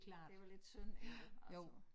Det var lidt synd ikke altså